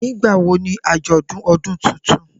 Nigbawo ni ajọdun ọdun tuntun?